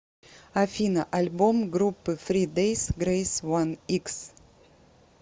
афина альбом группы фри дейс грейс уан икс